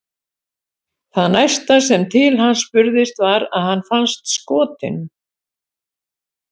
Það næsta sem til hans spurðist var að hann fannst skotinn.